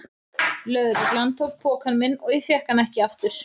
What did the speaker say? Lögreglan tók pokann minn og ég fékk hann ekki aftur.